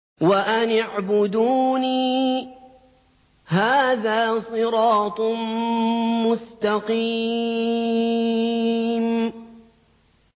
وَأَنِ اعْبُدُونِي ۚ هَٰذَا صِرَاطٌ مُّسْتَقِيمٌ